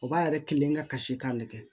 O b'a yɛrɛ kelen ka kasi k'a nɛgɛ